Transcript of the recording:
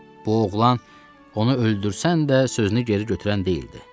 Bu oğlan onu öldürsən də sözünü geri götürən deyildi.